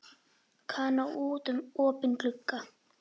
Kana út um opinn glugga.